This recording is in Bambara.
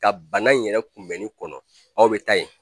Ka bana in yɛrɛ kunbɛnni kɔnɔ aw bɛ taa yen.